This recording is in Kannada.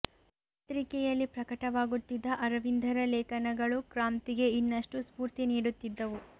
ಆ ಪತ್ರಿಕೆಯಲಿ ಪ್ರಕಟವಾಗುತ್ತಿದ್ದ ಅರವಿಂದರ ಲೇಖನಗಳು ಕ್ರಾಂತಿಗೆ ಇನ್ನಷ್ಟು ಸ್ಪೂರ್ತಿ ನೀಡುತ್ತಿದ್ದವು